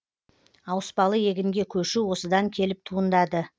ауыспалы егінге көшу осыдан келіп туындады